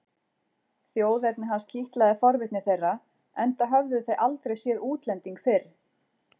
Þjóðerni hans kitlaði forvitni þeirra enda höfðu þau aldrei séð útlending fyrr.